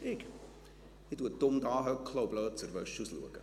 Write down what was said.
Ich sitze dumm da und schaue blöd aus der Wäsche.»